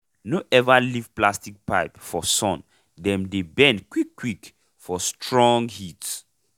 no ever leave plastic pipe for sun dem dey bend quick quick for strong heat